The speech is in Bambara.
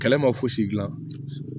Kɛlɛ ma fosi gilan